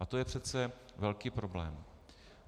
A to je přece velký problém.